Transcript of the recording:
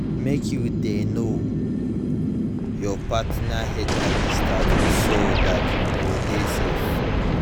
mk you de know you partner hiv status so that you go de safe